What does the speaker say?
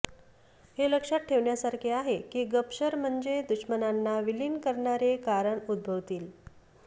हे लक्षात ठेवण्यासारखे आहे की गपशर म्हणजे दुश्मनांना विलीन करणारे कारण उद्भवतील